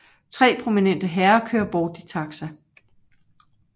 Tre prominente herrer kører bort i taxa